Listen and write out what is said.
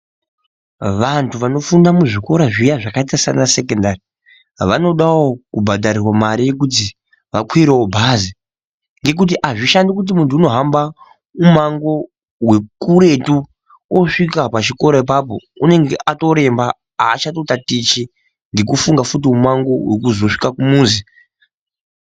Vanthu vanofunda muzvikora zviya zvakaita sanasekendari vanodawo kubhadharirwa mare yekuti vakwirewo bhazi. Ngokuti hazvishandi kuti munthu unohamba mumango wekuretu osvika pachikora apapo unenge atoremba aachatotatichi ngokufunga futi mumango wokuzosvika kumuzi.